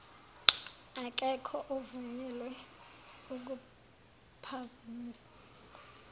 akekho ovunyelwe ukuphazamisa